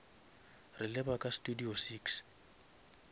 re leba ka studio six